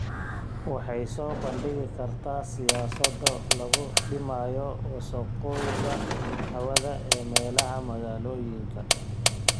Waxay soo bandhigi kartaa siyaasado lagu dhimayo wasakhowga hawada ee meelaha magaalooyinka.